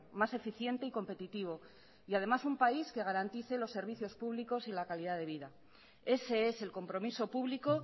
más eficiente y competitivo y además un país que garantice los servicios públicos y la calidad de vida ese es el compromiso público